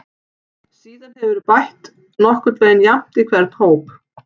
Síðan hefur verið bætt nokkurn veginn jafnt í hvern hóp.